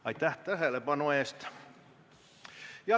Aitäh tähelepanu eest!